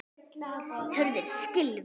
Hurðir skylfu.